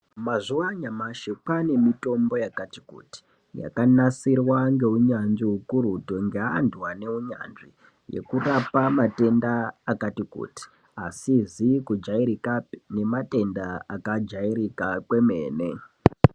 Mazuwa anyamashi kwane mitombo yakati kuti, yakanasirwa ngeunyanzvi hukurutu ngeantu ane unyanzvi hwekurapa matenda akati kuti, asizi kujairikapi nematenda akajairika kwemene.